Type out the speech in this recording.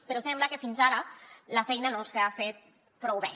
però sembla que fins ara la feina no s’ha fet prou bé